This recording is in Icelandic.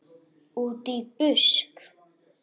Útí busk.